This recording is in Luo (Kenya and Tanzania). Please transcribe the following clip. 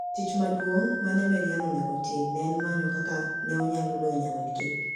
Tich maduong' ma ne Maryann onego otim ne en manyo kaka ne onyalo loyo nyawadgi.